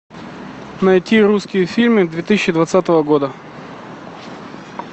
найти русские фильмы две тысячи двадцатого года